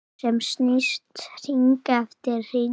Sem snýst hring eftir hring.